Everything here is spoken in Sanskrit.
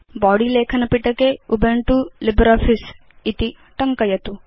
बॉडी लेखनपिटके उबुन्तु लिब्रे आफिस इति टङ्कयतु